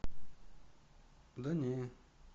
да не